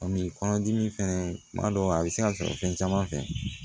kɔnɔdimi fɛnɛ kuma dɔw a be se ka sɔrɔ fɛn caman fɛ